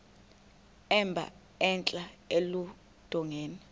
emba entla eludongeni